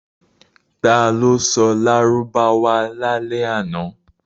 Ta ló sọ Lárúbáwá lálẹ́ àná?